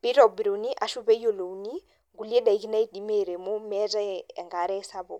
peitobiruni ashu peeyiolouni nkule daki naidimi airemo emeatae enkare sapuk.